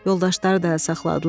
Yoldaşları da əl saxladılar.